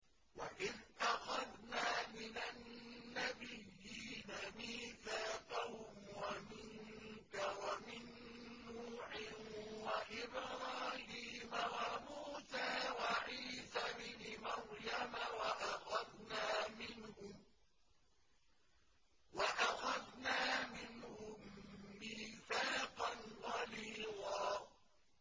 وَإِذْ أَخَذْنَا مِنَ النَّبِيِّينَ مِيثَاقَهُمْ وَمِنكَ وَمِن نُّوحٍ وَإِبْرَاهِيمَ وَمُوسَىٰ وَعِيسَى ابْنِ مَرْيَمَ ۖ وَأَخَذْنَا مِنْهُم مِّيثَاقًا غَلِيظًا